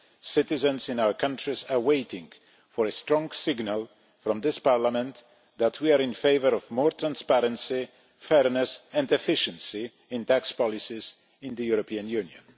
Citizens in our countries are waiting for a strong signal from this Parliament that we are in favour of more transparency, fairness and efficiency in tax policies in the European Union.